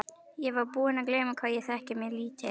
Ég var búinn að gleyma hvað ég þekki mig lítið.